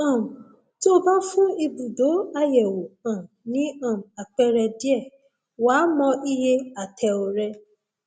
um tó o bá fún ibùdó àyẹwò um ní um àpẹẹrẹ díẹ wàá mọ iye ààtẹọ rẹ